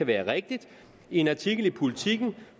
være rigtigt i en artikel i politiken